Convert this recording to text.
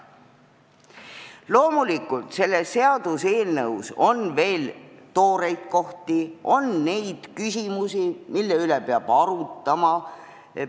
Loomulikult, selles seaduseelnõus on veel tooreid kohti, on küsimusi, mida peab arutama.